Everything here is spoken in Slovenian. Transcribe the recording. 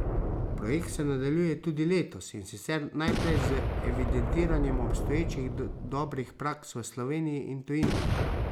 Projekt se nadaljuje tudi letos, in sicer najprej z evidentiranjem obstoječih dobrih praks v Sloveniji in tujini.